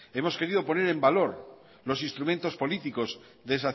hemos querido poner en valor los instrumentos políticos